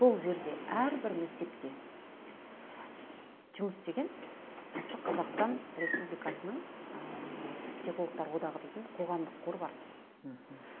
бұл жерде әрбір мектепте жұмыс істеген осы қазақстан республикасының ы психологтар одағы дейтін қоғамдық қор бар мхм